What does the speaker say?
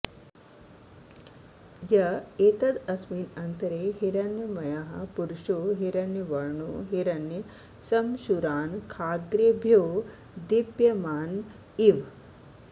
य एतदस्मिन्नन्तरे हिरण्मयः पुरुषो हिरण्यवर्णो हिरण्यश्मश्रुरानखाग्रेभ्यो दीप्यमान इव